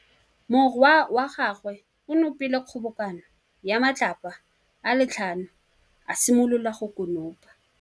Morwa wa gagwe o nopile kgobokanô ya matlapa a le tlhano, a simolola go konopa.